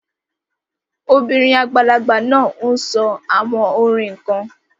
The old woman is saying some chants